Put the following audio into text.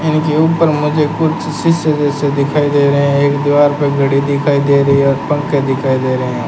इनके ऊपर मुझे कुछ शीशे जैसे दिखाई दे रहे हैं एक दीवार पर घड़ी दिखाई दे रही है और पंखे दिखाई दे रहे हैं।